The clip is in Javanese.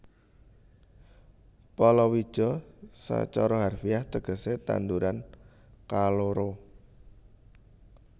Palawija sacara harfiah tegesé tanduran kaloro